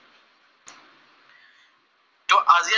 যʼ আজি আমি